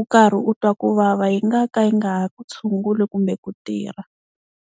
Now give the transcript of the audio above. u karhi u twa ku vava yi nga ka yi nga ha ku tshunguli kumbe ku tirha.